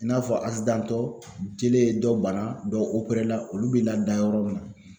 I n'a fɔ asidantɔ jele ye dɔ bana, olu bi lada yɔrɔ min na